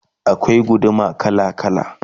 akwai guduma kala kala